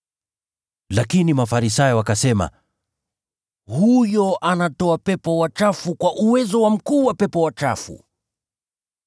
Lakini Mafarisayo wakasema, “Huyo anatoa pepo wachafu kwa uwezo wa mkuu wa pepo wachafu.”